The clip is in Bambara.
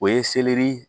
O ye selɛri